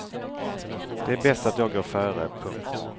Det är bäst att jag går före. punkt